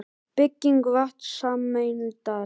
Bygging vatnssameindar.